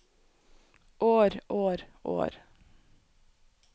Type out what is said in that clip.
år år år